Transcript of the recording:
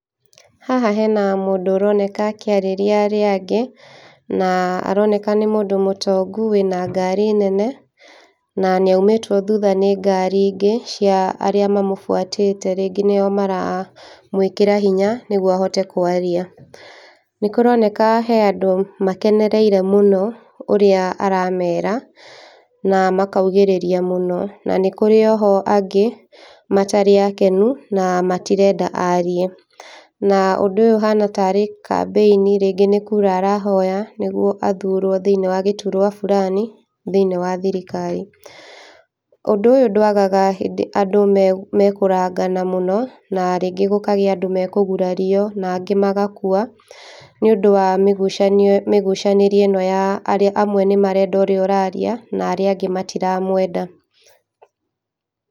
Haha hena mũndũ ũroneka akĩarĩria arĩa aingĩ, na aroneka nĩ mũndũ mũtongũ wĩna ngari nene, na nĩaũmĩtwo thũtha nĩ ngari ingĩ, cia arĩa mamũ fuata rĩngĩ nĩo maramwĩkĩra hinya nĩguo ahote kwarĩa. Nĩ kũronekana kwĩna andũ makenereire mũno ũrĩa aramera na makaugĩrĩria mũno na nĩkũrĩ oho angĩ matarĩ akenu na matirenda arie. Na ũndũ ũyũ ũhana tarĩ campaign rĩngĩ nĩ kura arahoya nĩguo athurwo thĩinĩ wa gĩturwa fulani thĩinĩ wa thirikari. Ũndũ ũyũ ndwagaga hĩndĩ andũ mekũ makũrangana mũno na rĩngĩ gũkagĩa na andũ mekũgurario na angĩ megũkua nĩũndũ wa mĩgucanio mĩgucanĩrie ĩno ya arĩa amwe nĩmarenda ũrĩa ũraria na arĩa angĩ matiramwenda.